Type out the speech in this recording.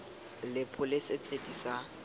le pholese tse di sa